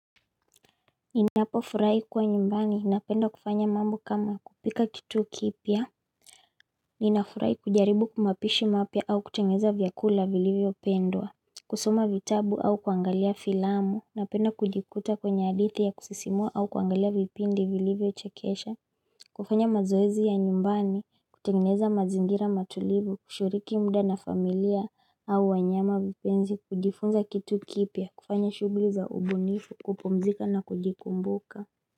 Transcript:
Ninapofurahi kuwa nyumbani napenda kufanya mambo kama kupika kitu kipya Ninafurahi kujaribu kumapishi mapya au kutengeza vyakula vilivyopendwa kusoma vitabu au kuangalia filamu napenda kujikuta kwenye hadithi ya kusisimua au kuangalia vipindi vilivyochekesha kufanya mazoezi ya nyumbani kutengeza mazingira matulivu kushiriki muda na familia au wanyama vipenzi kujifunza kitu kipya kufanya shughuli za ubunifu kupumzika na kujikumbuka.